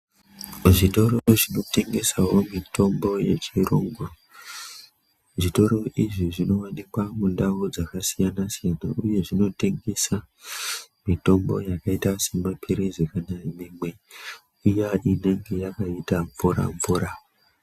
Muzvitoro zvinotengesawo mitombo yechirungu, zvitoro izvi zvinowanikwa mundau dzakasiyana siyana uye dzinotengesa mitombo yakaita semapirizi kana imwe iya inenge yakaita mvura mvura.